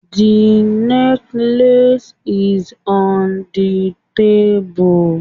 The necklace is on the table